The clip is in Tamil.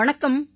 வணக்கம்